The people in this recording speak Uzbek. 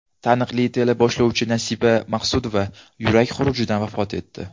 Taniqli teleboshlovchi Nasiba Maqsudova yurak xurujidan vafot etdi.